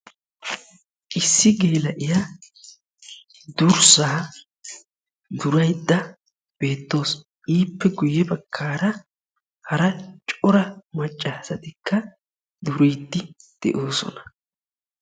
Issi geela'iya durssaa duraydda beettawusu. ippe guye bagaara hara cora macca asatikka duriidi de'oosona.